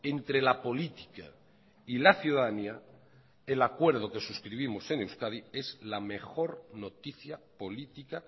entre la política y la ciudadanía el acuerdo que suscribimos en euskadi es la mejor noticia política